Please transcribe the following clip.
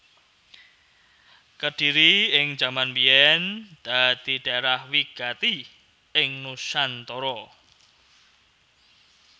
Kedhiri ing jaman biyèn dadi dhaerah wigati ing nusantara